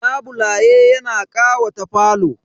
Labule yana ƙawata falo.